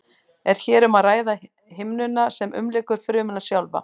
er hér um að ræða himnuna sem umlykur frumuna sjálfa